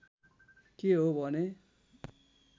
के हो भने